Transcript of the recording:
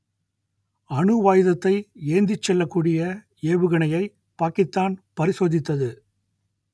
அணுவாயுதத்தை ஏந்திச் செல்லக்கூடிய ஏவுகணையை பாக்கித்தான் பரிசோதித்தது